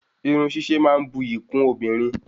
Irun sise ma n bu ìyí kun obìnrin